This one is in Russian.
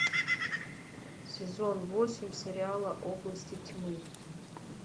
сезон восемь сериала области тьмы